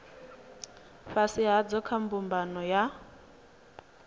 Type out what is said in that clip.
fhasi hadzo kha mbumbano ya